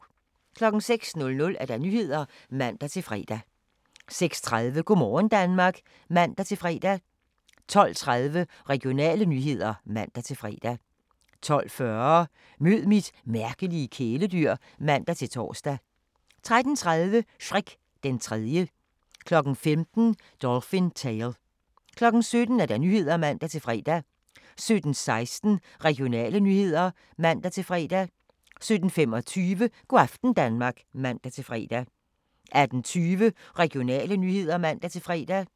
06:00: Nyhederne (man-fre) 06:30: Go' morgen Danmark (man-fre) 12:30: Regionale nyheder (man-fre) 12:40: Mød mit mærkelige kæledyr (man-tor) 13:30: Shrek den Tredje 15:00: Dolphin Tale 17:00: Nyhederne (man-fre) 17:16: Regionale nyheder (man-fre) 17:25: Go' aften Danmark (man-fre) 18:20: Regionale nyheder (man-fre)